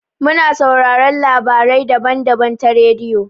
Mu na sauraron labarai daban-daban ta rediyo.